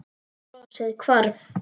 Brosið hvarf.